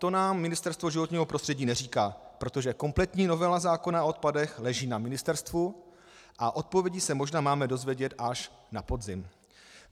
To nám Ministerstvo životního prostředí neříká, protože kompletní novela zákona o odpadech leží na ministerstvu a odpovědi se možná máme dozvědět až na podzim.